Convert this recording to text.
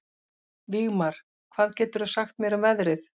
Vígmar, hvað geturðu sagt mér um veðrið?